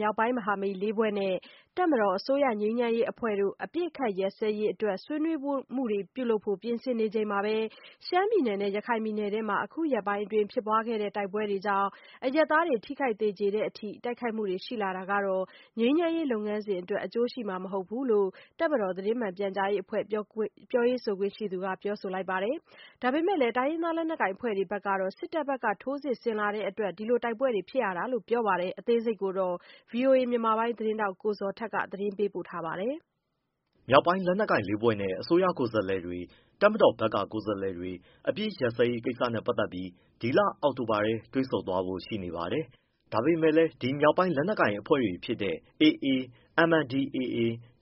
မြောက်ပိုင်းမဟာမိတ် ၄ ဖွဲ့နဲ့ တပ်မတော်၊ အစိုးရငြိမ်းချမ်းရေးအဖွဲ့တို့ အပစ်အခတ်ရပ်စဲရေးအတွက် ဆွေးနွေးမှုတွေ ပြုလုပ်ဖို့ ရှိနေချိန်မှာပဲ ရှမ်းနဲ့ ရခိုင်ပြည်နယ်တွေမှာ အခုရက်ပိုင်းအတွက် ဖြစ်ခဲ့တဲ့ တိုက်ပွဲတွေကြောင့် အရပ်သားတွေ ထိခိုက် သေကြေတဲ့အထိ ပစ်ခတ်တိုက်ခိုက်မှုတွေ ရှိလာတာက ငြိမ်းချမ်းရေး လုပ်ငန်းစဉ်အတွက် အကျိုးဖြစ်မှာမဟုတ်ဘူးလို့ တပ်မတော် သတင်းမှန်ပြန်ကြားရေးအဖွဲ့ ပြောရေးဆိုခွင့်ရှိသူက ပြောပါတယ်။ ဒါပေမယ့် တိုင်းရင်းသားလက်နက်ကိုင် အဖွဲ့တွေဘက်ကတော့ စစ်တပ်ဘက်ကထိုးစစ်ဆင်တဲ့အတွက် တိုက်ပွဲတွေ ဖြစ်ရတာလို့ ပြောပါတယ်။ ဒီအကြောင်း ဗွီအိုအေမြန်မာပိုင်းသတင်းထောက် ကိုဇော်ထက်က မေးမြန်း၊ ပေးပို့ထားပါတယ်။ မြောက်ပိုင်းလက်နက်ကိုင် ၄ ဖွဲ့နဲ့ အစိုးရကိုယ်စားလှယ်တွေ၊ တပ်မတော်ဘက်က ကိုယ်စားလှယ်တွေ အပစ်ရပ်စဲရေးကိစ္စနဲ့ ပတ်သက်ပြီး ဒီအောက်တိုဘာလထဲ တွေ့ဆုံသွားဖို့ရှိနေပါတယ်။ ဒါပေမဲ့လည်း ဒီမြောက်ပိုင်းလက်နက်ကိုင် အဖွဲ့တွေဖြစ်တဲ့ AA, MNDAA,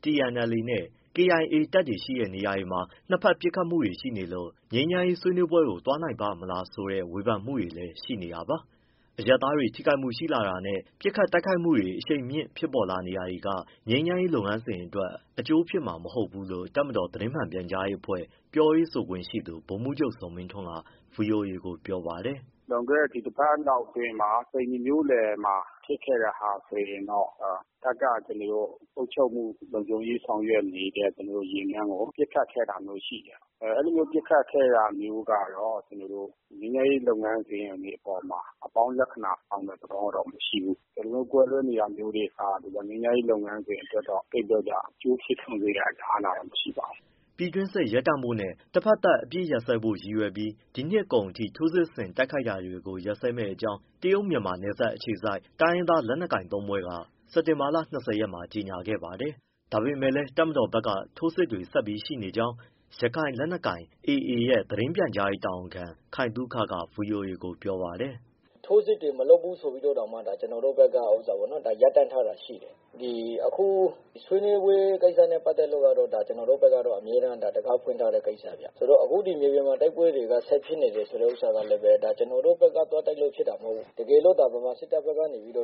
TNLA နဲ့ KIA တပ်တွေရှိနေတဲ့ နေရာတွေမှာ နှစ်ဖက် ပစ်ခတ်မှုတွေရှိနေလို့ ငြိမ်းချမ်းရေးဆွေးနွေးပွဲကို သွားနိုင်ပါ့မလားဆိုတဲ့ ဝေဖန်မှုတွေလည်း ရှိနေတာပါ။ အရပ်သားတွေ ထိခိုက်မှုရှိလာတာနဲ့ ပစ်ခတ်တိုက်ခိုက်မှုတွေ အရှိန်မြင့် ဖြစ်ပေါ်လာနေတာတွေက ငြိမ်းချမ်းရေးလုပ်ငန်းစဉ်အတွက် အကျိုးဖြစ်မှာမဟုတ်ဘူးလို့ တပ်မတော် သတင်းမှန်ပြန်ကြားရေးအဖွဲ့ ပြောရေးဆိုခွင့်ရှိသူ ဗိုလ်မှူးချုပ် ဇော်မင်းထွန်းက ဗွီအိုအေကို ပြောပါတယ်။ “လွန်ခဲ့တဲ့ ဒီတပတ်လောက်အတွင်းမှာ သိန္နီမြို့လယ်မှာ ဖြစ်ခဲ့တဲ့ဟာဆိုရင်တော့ တပ်ကအုပ်ချုပ်မှုလုံခြုံရေးဆောင်ရွက်နေတဲ့ယာဉ်တန်းကို ပစ်ခတ်ခဲ့တာမျိုးရှိတယ်။ အဲလိုပစ်ခတ်ခဲ့တာမျိုးကတော့ ငြိမ်းချမ်းရေးလုပ်ငန်းစဉ်တွေအပေါ်မှာ အပေါင်းလက္ခဏာ ဆောင်တဲ့သဘောတော့မရှိဘူး။ ဒီလိုမျိုး ကွဲလွဲနေတာမျိုးတွေက ငြိမ်းချမ်းရေး လုပ်ငန်းစဉ်အတွက်တော့ အကျိုးဖြစ်ထွန်းစေတဲ့အလားအလာတော့မရှိပါဘူး။” ပြည်တွင်းစစ်ရပ်တန့်ဖို့နဲ့ တဖက်သတ် အပစ်ရပ်စဲနိုင်ဖို့ရည်ရွယ်ပြီး ဒီနှစ်ကုန်အထိ ထိုးစစ်ဆင်တိုက်ခိုက်တာတွေ ရပ်စဲမယ့်အကြောင်း တရုတ်-မြန်မာ နယ်စပ်အခြေစိုက် တိုင်းရင်းသားလက်နက်ကိုင်သုံးဖွဲ့က စက်တင်ဘာလ ၂၀ရက်မှာ ကြေညာခဲ့ပါတယ်။ ဒါပေမဲ့လည်း တပ်မတော်ဘက်က ထိုးစစ်တွေ ဆက်ရှိနေကြောင်း ရခိုင်လက်နက်ကိုင်အဖွဲ့ AA ရဲ့ သတင်းပြန်ကြားရေးတာဝန်ခံ ခိုင်သုခက ဗွီအိုအေကို ပြောပါတယ်။ “ထိုးစစ်တွေ မလုပ်ဘူးဆိုပြီး ဒါ ကျနော်တို့ဘက်က ရပ်တန့်ထားတာရှိတယ်။ အခု ဆွေးနွေးပွဲကိစ္စနဲ့ ပတ်သက်လို့ကတော့ ကျနော်တို့ဘက်က အမြဲတံခါးဖွင့်ထားတဲ့ ကိစ္စဗျ။ အခုမြေပြင်မှာ တိုက်ပွဲတွေက ဆက်ဖြစ်နေတယ်ဆိုတာ ကျနော်တို့ဘက်က သွားတိုက်လို့ ဖြစ်တာမဟုတ်ဘူး။ တကယ်လို့သာ မြန်မာစစ်တပ်က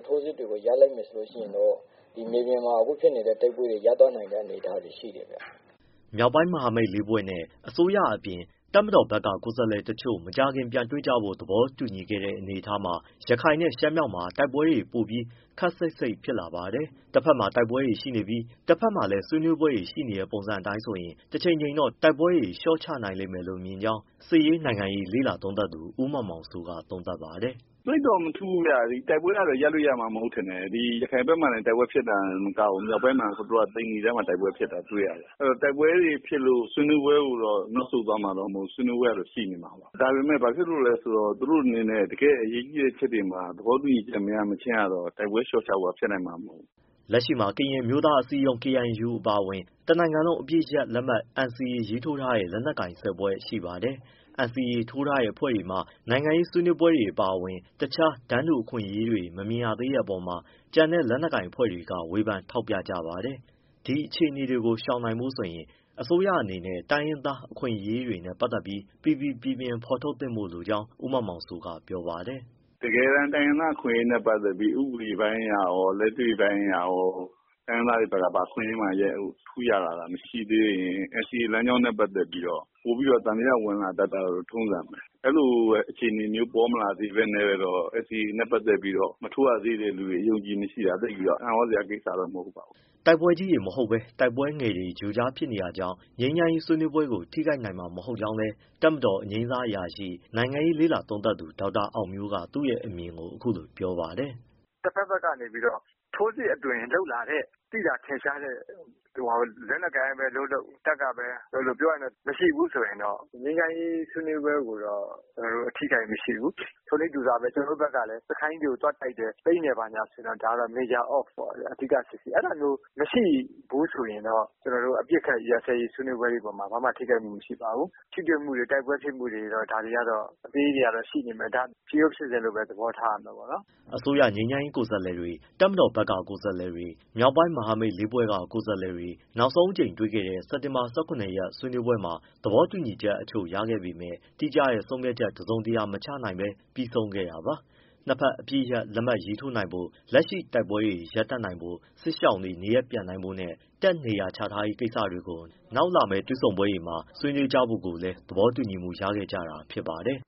ထိုးစစ်တွေကို ရပ်လိုက်မယ် ဆိုရင်တော့ မြေပြင်မှာ အခုဖြစ်နေတဲ့ တိုက်ပွဲတွေကို ရပ်တန့်နိုင်တဲ့ အနေအထားရှိတယ်။” မြောက်ပိုင်း မဟာမိတ်လေးဖွဲ့နဲ့ အစိုးရအပြင် တပ်မတော်ဘက်က ကိုယ်စားလှယ်တချို့ မကြာခင်ပြန်တွေ့ကြဖို့ သဘောတူခဲ့တဲ့အနေအထားမှာ ရခိုင်နဲ့ ရှမ်းမြောက်မှာ တိုက်ပွဲတွေပိုပြီး ခပ်စိပ်စိပ်ဖြစ်လာပါတယ်။ တဘက်ကတိုက်ပွဲရှိနေပြီး တဘက်မှာလည်း ဆွေးနွေးပွဲတွေ ရှိနေတဲ့ပုံစံအတိုင်းဆိုရင် တချိန်ချိန်တော့ တိုက်ပွဲတွေ လျှော့ချလို့ရနိုင်မယ်လို့ မြင်ကြောင်း စစ်ရေး၊ နိုင်ငံရေး လေ့လာသုံးသပ်သူ ဦးမောင်မောင်စိုးက သုံးသပ်ပါတယ်။ “သိပ်တော့ မထူးဘူးဗျ၊ ဒီတိုက်ပွဲက ရပ်လို့ရမှာ မဟုတ်ဘူးထင်တယ်။ ဒီ ရခိုင်ဘက် မှာလည်း တိုက်ပွဲဖြစ်တာမကဘူး၊ မြောက်ပိုင်းမှာ ဟိုတလောက သိန္နိဘက်မှာ တိုက်ပွဲဖြစ်တာ တွေ့ရတယ်။ အဲဒီတော့ တိုက်ပွဲတွေဖြစ်လို့ ဆွေးနွေးပွဲကို နောက်ဆုတ် သွားမှာတော့ မဟုတ်ဘူး။ ဆွေးနွေးပွဲကတော့ ရှိနေမှာပါ။ ဒါပေမဲ့ ဘာဖြစ်လို့လည်းဆိုတော့ သူတို့အနေနဲ့ တကယ့်အရေးကြီးတဲ့ အချက်တွေမှာ သဘောတူညီချက် မရမချင်းကတော့ တိုက်ပွဲ လျှော့ချဖို့ကတော့ ဖြစ်နိုင်မှာ မဟုတ်ဘူး။” လက်ရှိမှာ ကရင်အမျိုးသားအစည်းအရုံး KNU အပါအဝင် တနိုင်ငံလုံး အပစ်ရပ်လက်မှတ် NCA ရေးထိုးထားတဲ့ လက်နက်ကိုင် ၁၀ဖွဲ့ရှိပါတယ်။ NCA ထိုးထားတဲ့အဖွဲ့တွေမှာ နိုင်ငံရေး ဆွေးနွေးပွဲတွေအပါအဝင် အခြား တန်းတူအခွင့်အရေးတွေ မမြင်ရသေးတဲ့အပေါ်မှာ ကျန်တဲ့လက်နက်ကိုင် အဖွဲ့တွေက ဝေဖန်ထောက်ပြကြပါတယ်။ ဒီအခြေအနေတွေကို ရှောင်ရှားနိုင်ဖို့အတွက် အစိုးရအနေနဲ့ တိုင်းရင်းသားအခွင့်အရေးတွေနဲ့ ပတ်သက်ပြီး ပီပီပြင်ပြင် ဖော်ထုတ်သင့်ကြောင်း ဦးမောင်မောင်စိုးက ပြောပါတယ်။ “တကယ်တမ်း တိုင်းရင်းသား အခွင့်အရေးနဲ့ ပတ်သက်ပြီး ဥပဒေပိုင်းအရရော၊ လက်တွေ့ပိုင်းအရရော တိုင်းရင်းသားတွေဘက်က ဘာအခွင့်အရေးမှ ထူးပြီး ရလာတာ မရှိသေးရင် NCA လမ်းကြောင်းနဲ့ ပတ်သက်ပြီးတော့ ပိုပြီးသံသယ ဝင်လာတတ်တာတော့ ထုံးစံပဲ။ အဲဒီလို အခြေအနေမျိုး ပေါ်မလာဘဲနဲ့တော့ NCAနဲ့ ပတ်သက်ပြီးတော့ မထိုးရသေးတဲ့သူတွေ အယုံအကြည်မရှိတာ သိပ်ပြီးတော့ အံ့သြစရာ ကိစ္စတော့ မဟုတ်ပါဘူး။” တိုက်ပွဲကြီးတွေမဟုတ်ဘဲ တိုက်ပွဲငယ်တွေ ကြိုကြားဖြစ်နေတာတွေကြောင့် ငြိမ်းချမ်းရေး ဆွေးနွေးပွဲကိုတော့ ထိခိုက်နိုင်မှာ မဟုတ်ကြောင်းလည်း တပ်မတော်အငြိမ်းစားအရာရှိ၊ နိုင်ငံရေးလေ့လာသုံးသပ်သူ ဒေါက်တာအောင်မျိုးက သူ့အမြင်ကို အခုလိုပြောပါတယ်။ “တဘက်ဘက်ကနေ ထိုးစစ်အသွင်လုပ်လာတဲ့ သိသာထင်ရှားတဲ့ လက်နက်ကိုင်ကပဲလုပ်လုပ်၊ တပ်ကပဲလုပ်လုပ် မရှိဘူး ဆိုရင်တော့ ငြိမ်းချမ်းရေး ဆွေးနွေးပွဲကိုတော့ အထိအခိုက်မရှိဘူး။ ထိုနည်းတူစွာပဲ ကျနော်တို့ဘက်ကလည်း စခန်းကြီးတွေကို သွားတိုက်တယ်၊ သိမ်းတယ် ဘာညာဆိုရင်တော့ ဒါက major off ပေါ့ အဓိကစစ်ဆင်ရေး။ အဲဒါမျိုး မရှိဘူးဆိုရင်တော့ အပစ်အခတ် ရပ်စဲရေး ဆွေးနွေးပွဲတွေအပေါ်မှာ ဘာမှထိခိုက်မှု မရှိပါဘူး။ ထိတွေ့မှုတွေ၊ တိုက်ပွဲဖြစ်မှုတွေ ဒါတွေကတော့ အသေးတွေကတော့ ရှိနေမယ်။ ဒါတွေက ဖြစ်ရိုးဖြစ်စဉ်လို့ပဲ သဘောထားရမယ်။” အစိုးရ ငြိမ်းချမ်းရေး ကိုယ်စားလှယ်တွေ၊ တပ်မတော်ဘက်က ကိုယ်စားလှယ်တွေနဲ့ မြောက်ပိုင်း မဟာမိတ်၄ဖွဲ့က ကိုယ်စားလှယ်တွေ နောက်ဆုံးအကြိမ် တွေ့ခဲ့တဲ့ စက်တင်ဘာ ၁၇ရက် ဆွေးနွေးပွဲမှာ သဘောတူညီချက်တချို့ ရခဲ့ပေမဲ့ တိကျတဲ့ ဆုံးဖြတ်ချက်တစုံတရာ မချနိုင်ဘဲ ပြီးဆုံးခဲ့တာပါ။ နှစ်ဖက် အပစ်ရပ်လက်မှတ် ရေးထိုးနိုင်ဖို့၊ လက်ရှိတိုက်ပွဲတွေ ရပ်နိုင်ဖို့၊ စစ်ရှောင်တွေနေရပ်ပြန်နိုင်ရေးနဲ့ တပ်နေရာချထားရေးကိစ္စတွေကို နောက်လာမယ့် တွေ့ဆုံပွဲမှာ ထပ်ဆွေးနွေးကြဖို့ သဘောတူညီမှု ရခဲ့ကြတာ ဖြစ်ပါတယ်